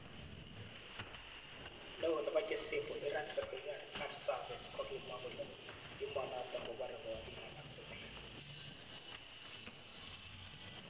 Neo nepo jesepo Iran Revolutionary Guard Service kokimwa kole emonotok kopore kolik alak tugul